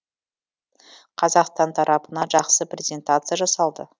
қазақстан тарапынан жақсы презентация жасалды